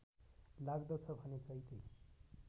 लाग्दछ भने चैते